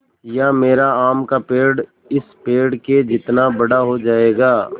या मेरा आम का पेड़ इस पेड़ के जितना बड़ा हो जायेगा